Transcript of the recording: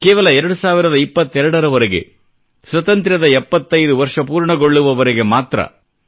ಕೇವಲ 2022 ರವರೆಗೆ ಸ್ವತಂತ್ರದ 75 ವರ್ಷ ಪೂರ್ಣಗೊಳ್ಳುವವರೆಗೆ ಮಾತ್ರ